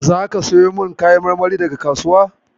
Zaka siyo min kayan marmarin daga kasuwa?